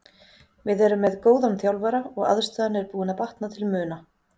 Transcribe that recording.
Við erum með góðan þjálfara og aðstaðan er búin að batna til muna.